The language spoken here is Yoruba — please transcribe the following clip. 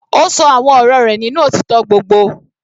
Ó ṣọ àwọn ọ̀rọ̀ rẹ̀ nínú òtítọ́ gbogbo.